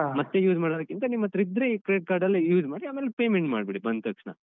ಮತ್ತೆ use ಮಾಡೋಕಿಂತ ನಿಮ್ಮತ್ರ ಇದ್ರೆ Credit Card ಲ್ಲೆ use ಮಾಡಿ ಆಮೇಲೆ payment ಮಾಡ್ಬಿಡಿ ಬಂತಕ್ಷ್ಣ.